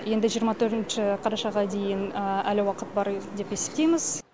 енді жиырма төртінші қарашаға дейін әлі уақыт бар деп есептейміз